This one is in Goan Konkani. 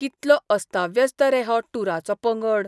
कितलो अस्ताव्यस्त रे हो टूराचो पंगड!